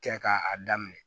Kɛ k'a daminɛ